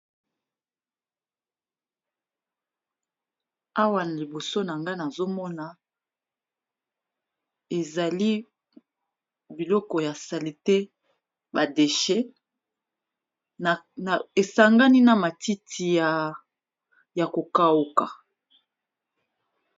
Awa na liboso na nga nazomona ezali biloko ya salete badeshe esangani na matiti ya kokauka.